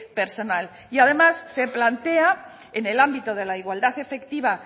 personal y además se plantea en el ámbito de la igualdad efectiva